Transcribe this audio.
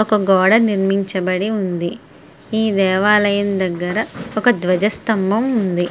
ఒక గోడ నిర్మించబడి ఉంది ఈ దేవాలయం దగ్గర ఒక ధ్వజ స్థంభం ఉంది.